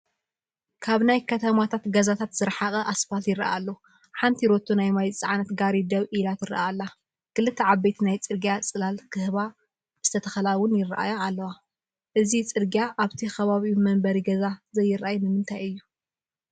ካብ ናይከተማ ገዛታት ዝራሓቐ ኣስፓልት ይረአ ኣሎ፡፡ ሓንቲ ሮቶ ናይ ማይ ዝፀዓነት ጋሪ ደው ኢላ ትረአ ኣላ፡፡ ክልተ ዓበይቲ ናይ ፅርግያ ፅላል ክህባ ዝተተኸላ ውን ይራኣያ ኣለዋ፡፡ አዚ ፅርግያ ኣብቲ ከባቢኡ መንበሪ ገዛ ዘይራኣይ ንምንታይ እዩ?